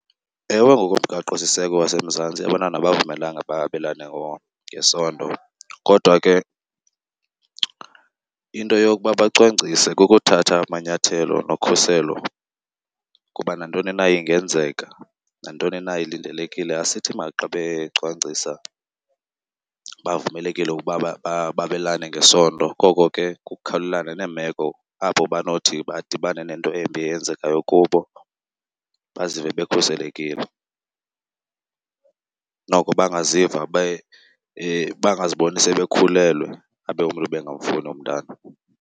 Ewe, ngokomgaqosiseko waseMzantsi abantwana abavumelekanga babelane ngesondo kodwa ke into yokuba bacwangcise kukuthatha amanyathelo nokhuselo kuba nantoni na ingenzeka, nantoni na ilindelekile. Asithi xa becwangcisa bavumelekile ukuba babelane ngesondo koko ke kukukhawulelana neemeko apho banothi badibane nento embi eyenzekayo kubo bazive bekhuselekile, noko bangaziva , bangaziboni sebekhulelwe abe umntu ebengamfuni umntana.